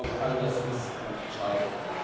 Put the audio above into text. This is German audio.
Ich glaube, all das ist entscheidend.